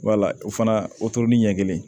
Wala o fana o toro ni ɲɛ kelen